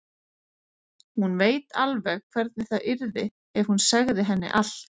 Hún veit alveg hvernig það yrði ef hún segði henni allt.